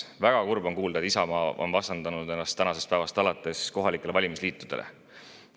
Väga kurb oli kuulda, et Isamaa vastandab ennast tänasest päevast alates kohalikele valimisliitudele.